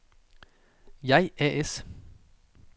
JAI A/S